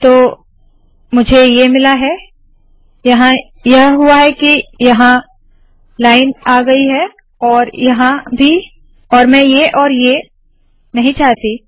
तो मुझे ये मिला है यहाँ यह हुआ है के यह लाइन यहाँ आई है और यहाँ भी और मैं ये औए ये नहीं चाहती